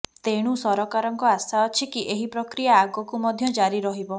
ତେଣୁ ସରକାରଙ୍କ ଆଶା ଅଛି କି ଏହି ପ୍ରକ୍ରିଆ ଆଗକୁ ମଧ୍ୟ ଜାରି ରହିବ